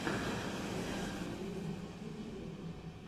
любовь калинина лучший выпуск